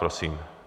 Prosím.